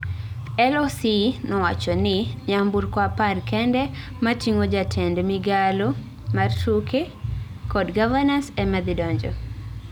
LOC nowacho ni nyamburko apar kende matigo jatend migalo mar tuke kod Gavanas ema dhi donjo